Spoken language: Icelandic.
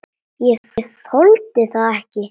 Ég þoldi þetta ekki.